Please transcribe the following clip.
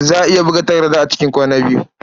Za a iya buga takarda a cikin kwana biyu.